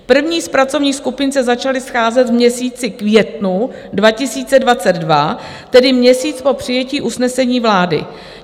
První z pracovních skupin se začaly scházet v měsíci květnu 2022, tedy měsíc po přijetí usnesení vlády.